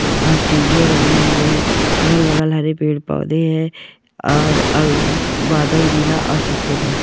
अह सीढ़िया बनी हुई है अगल बगल हरे पेड़पौधे है और अह बादल नीला और सफ़ेद है।